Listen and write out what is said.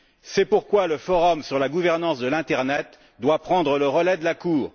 C'est pourquoi le forum sur la gouvernance de l'internet doit prendre le relais de la Cour.